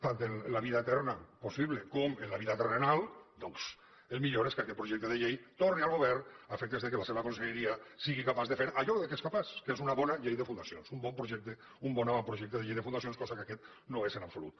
tant en la vida eterna possible com en la vida terrenal doncs el millor és que aquest projecte de llei torni al govern a efectes que la seva conselleria sigui capaç de fer allò de què és capaç que és una bona llei de fundacions un bon avantprojecte de llei de fundacions cosa que aquest no és en absolut